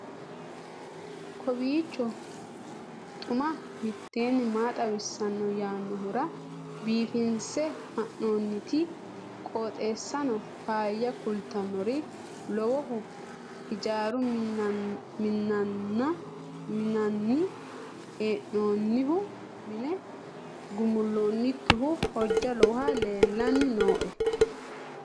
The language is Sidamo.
kowiicho xuma mtini maa xawissanno yaannohura biifinse haa'noonniti qooxeessano faayya kultannori lowohu hijaaru minnanni hee'noonnihu minne gumulloonnikkihu hojja lowohu leellanni nooe